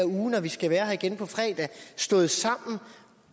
uge når vi skal være her igen på fredag stået sammen